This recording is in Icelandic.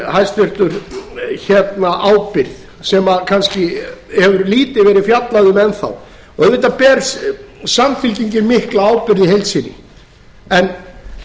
hæstvirtur ábyrgð sem kannski hefur lítið verið fjallað um enn þá auðvitað ber samfylkingin mikla ábyrgð í heild sinni en